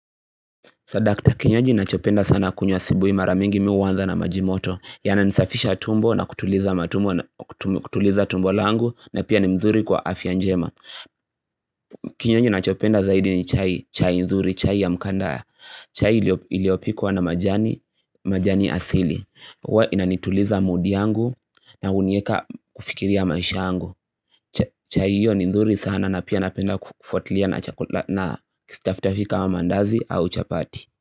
Sadakta kinywaji nachopenda sana kunywa asubuhi mara mingi mi huanza na maji moto yananisafisha tumbo na kutuliza tumbo langu na pia ni mzuri kwa afya njema Kinywaji nachopenda zaidi ni chai, chai nzuri, chai ya mkandaa chai iliyopikwa na majani asili. Huwa inanituliza mood yangu na hunieka kufikiria maisha yangu. Chai hiyo ni mzuri sana na pia napenda kufuatilia na kistaftahi kama maandazi au chapati.